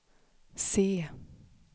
se